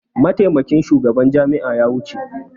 Mataimakin shugaban jami'a ya wuce.